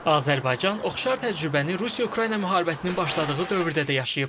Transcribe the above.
Azərbaycan oxşar təcrübəni Rusiya-Ukrayna müharibəsinin başladığı dövrdə də yaşayıb.